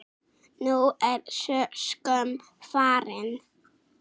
Nú er sú skömm farin.